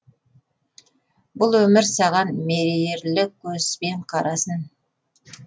бұл өмір саған мейірлі көзбен қарасын